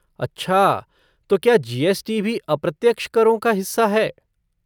अच्छा तो क्या जी.एस.टी. भी अप्रत्यक्ष करों का हिस्सा है?